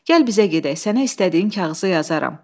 Gəl bizə gedək, sənə istədiyin kağızı yazaram.